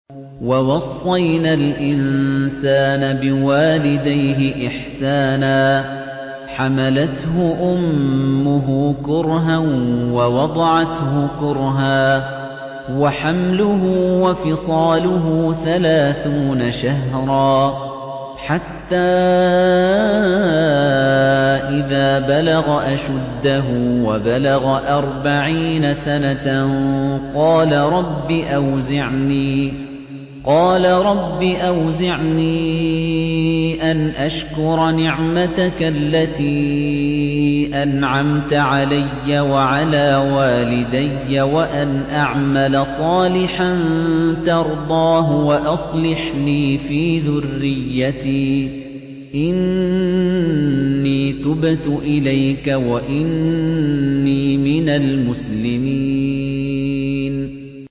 وَوَصَّيْنَا الْإِنسَانَ بِوَالِدَيْهِ إِحْسَانًا ۖ حَمَلَتْهُ أُمُّهُ كُرْهًا وَوَضَعَتْهُ كُرْهًا ۖ وَحَمْلُهُ وَفِصَالُهُ ثَلَاثُونَ شَهْرًا ۚ حَتَّىٰ إِذَا بَلَغَ أَشُدَّهُ وَبَلَغَ أَرْبَعِينَ سَنَةً قَالَ رَبِّ أَوْزِعْنِي أَنْ أَشْكُرَ نِعْمَتَكَ الَّتِي أَنْعَمْتَ عَلَيَّ وَعَلَىٰ وَالِدَيَّ وَأَنْ أَعْمَلَ صَالِحًا تَرْضَاهُ وَأَصْلِحْ لِي فِي ذُرِّيَّتِي ۖ إِنِّي تُبْتُ إِلَيْكَ وَإِنِّي مِنَ الْمُسْلِمِينَ